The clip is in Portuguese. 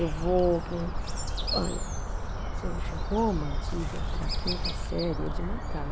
Eu vou, que nem, olha, gente, Roma Antiga para a quinta série é de matar.